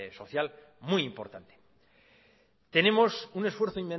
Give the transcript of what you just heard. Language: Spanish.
social muy importante tenemos un esfuerzo